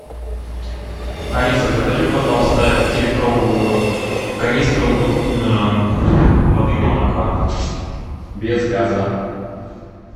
алиса закажи пожалуйста пятилитровую канистру воды бонаква без газа